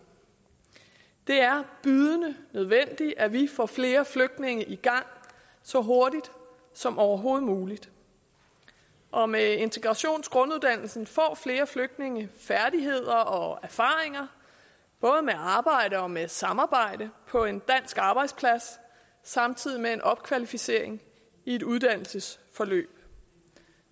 det er bydende nødvendigt at vi får flere flygtninge i gang så hurtigt som overhovedet muligt og med integrationsgrunduddannelsen får flere flygtninge færdigheder og erfaringer både med arbejde og med samarbejde på en dansk arbejdsplads samtidig med en opkvalificering i et uddannelsesforløb